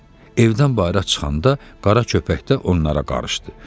Evdən bayıra çıxanda Qara köpək də onlara qarışdı.